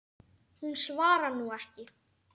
Hún svarar nú ekki.